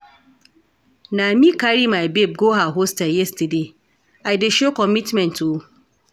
Na me carry my babe go her hostel yesterday, I dey show commitment o.